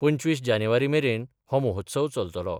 पंचवीस जानेवारी मेरेन हो महोत्सव चलतलो.